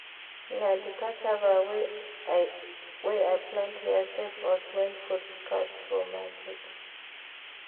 Na di cassava wey I plant here save us wen food scarce for market.